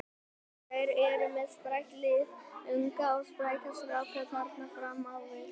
Þeir eru með sprækt lið, unga og spræka stráka þarna fram á við.